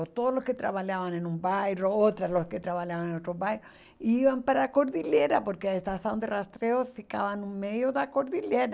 Todos os que trabalhavam em um bairro, outros que trabalhavam em outro bairro, iam para a cordilheira, porque a estação de rastreio ficava no meio da cordilheira.